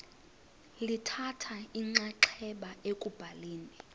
lithatha inxaxheba ekubhaleni